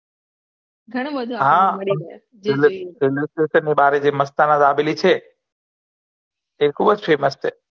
હા railway station નિ બહાર જે મસ્તાના દાબેલી છે એ ખુબ જ famous છે